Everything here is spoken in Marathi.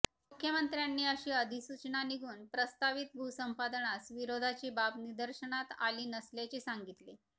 मुख्यमंत्र्यांनी अशी अधिसूचना निघून प्रस्तावित भूसंपादनास विरोधाची बाब निदर्शनास आली नसल्याचे सांगितले